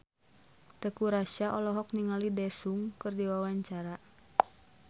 Teuku Rassya olohok ningali Daesung keur diwawancara